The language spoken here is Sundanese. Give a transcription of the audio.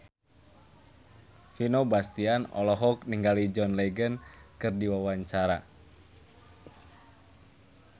Vino Bastian olohok ningali John Legend keur diwawancara